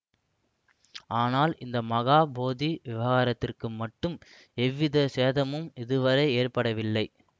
ஆனால் இந்த மகா போதி விஹாரத்துக்கு மட்டும் எவ்விதச் சேதமும் இதுவரை ஏற்படவில்லை